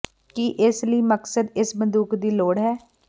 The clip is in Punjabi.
ਕੀ ਇਸ ਲਈ ਮਕਸਦ ਇਸ ਬੰਦੂਕ ਦੀ ਲੋੜ ਹੈ